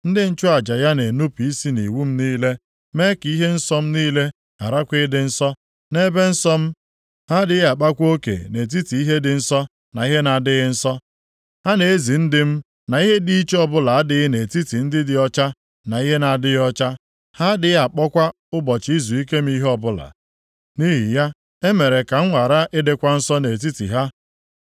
Ndị nchụaja ya na-enupu isi nʼiwu m niile, mee ka ihe nsọ m niile gharakwa ịdị nsọ, nʼebe nsọ m. Ha adịghị akpakwa oke nʼetiti ihe dị nsọ na ihe na-adịghị nsọ. Ha na-ezi ndị m na ihe dị iche ọbụla adịghị nʼetiti ihe dị ọcha na ihe na-adịghị ọcha. Ha adịghị akpọkwa ụbọchị izuike m ihe ọbụla. Nʼihi ya, e mere ka m ghara ịdịkwa nsọ nʼetiti ha.